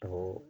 Tɔ